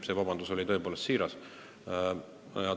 See vabandus oli tõepoolest siiras.